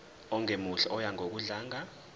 ongemuhle oya ngokudlanga